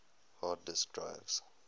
hard disk drives